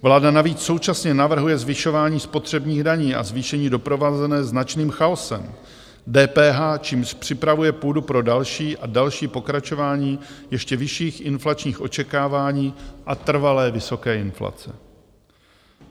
Vláda navíc současně navrhuje zvyšování spotřebních daní a zvýšení doprovázené značným chaosem, DPH, čímž připravuje půdu pro další a další pokračování ještě vyšších inflačních očekávání a trvalé vysoké inflace.